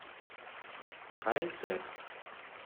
хай тэк